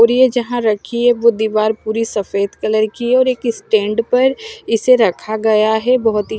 और ये जहां रखी है वो दीवार पूरी सफेद कलर की है और एक स्टैंड पर इसे रखा गया है बहोत ही--